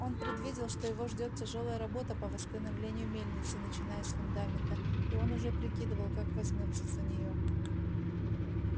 он предвидел что его ждёт тяжёлая работа по восстановлению мельницы начиная с фундамента и он уже прикидывал как возьмётся за неё